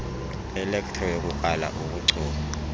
elektro yokukrala kobuchopho